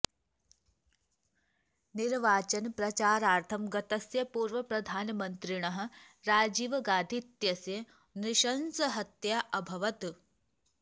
निर्वाचनप्रचारार्थं गतस्य पूर्वप्रधानमन्त्रिणः राजीव गान्धी इत्यस्य नृशंसहत्या अभवत्